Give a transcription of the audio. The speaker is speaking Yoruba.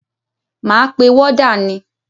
Máa pe wọ́dà ni.